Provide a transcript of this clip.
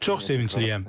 Çox sevincliyəm.